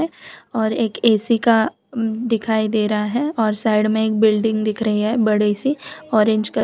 और एक ए_सी का दिखाई दे रहा है और साइड में एक बिल्डिंग दिख रही है बड़ी सी ऑरेंज क--